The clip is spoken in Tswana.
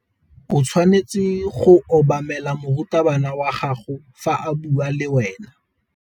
O tshwanetse go obamela morutabana wa gago fa a bua le wena.